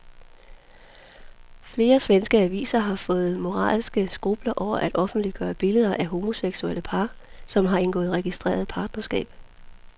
Flere svenske aviser har fået moralske skrupler over at offentliggøre billeder af homoseksuelle par, som har indgået registreret partnerskab.